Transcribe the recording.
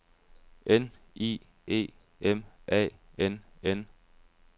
N I E M A N N